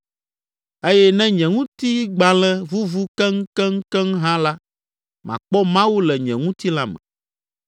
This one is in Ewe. Eye ne nye ŋutigbalẽ vuvu keŋkeŋkeŋ hã la, makpɔ Mawu le nye ŋutilã me,